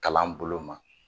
Kalan bolo ma